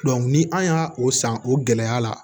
ni an y'a o san o gɛlɛya la